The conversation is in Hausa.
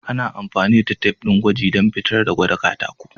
Ana amfani da tif din gwaji dan fitar da gwada katako.